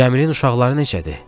Cəmilin uşaqları necədir?